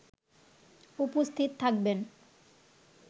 উপস্থিত থাকবেন